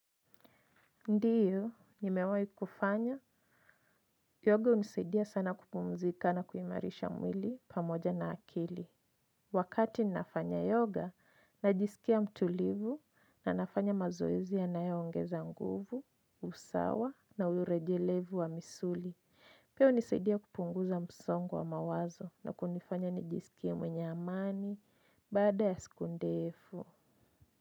Ndiyo, nimewahi kufanya. Yoga hunisaidia sana kupumzika na kuimarisha mwili pamoja na akili. Wakati ninafanya yoga, najisikia mtulivu na nafanya mazoezi yanayo ongeza nguvu, usawa na urejelevu wa misuli. Pia hunisaidia kupunguza msongo wa mawazo na kunifanya nijisikie mwenye amani baada ya siku ndefu.